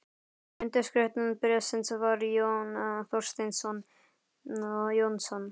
Undirskrift bréfsins var Jón Thorsteinsson Jónsson.